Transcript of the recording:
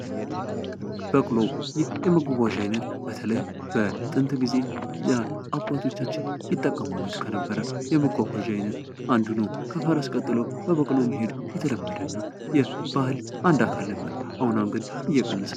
በቅሎ የመጓጓዣ አይነት በተለይ በጥንት ጊዜ አባቶቻችን ይጠቀሙበት ከነበረ የመጓጓዣ አይነት አንዱ ነው። ከፈረስ ቀጥሎ በበቅሎ መሄድ የተለመደ ነው። የባህል አንድ አካል ነበር። አሁን አሁን ግን እየቀነሰ